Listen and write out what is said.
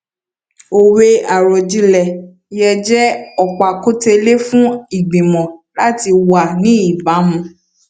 òwe àròjinlẹ yẹ jẹ ọpákùtẹlẹ fún ìgbìmọ láti wà ní ìbámu